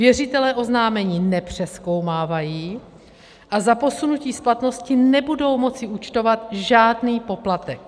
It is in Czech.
Věřitelé oznámení nepřezkoumávají a za posunutí splatnosti nebudou moci účtovat žádný poplatek.